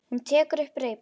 Hún tekur upp reipið.